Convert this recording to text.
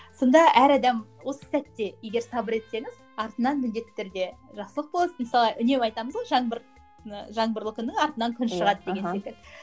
сонда әр адам осы сәтте егер сабыр етсеңіз артынан міндетті түрде жақсылық болады мысалы үнемі айтамыз ғой жаңбыр ы жаңбырлы күні артынан күн шығады деген секілді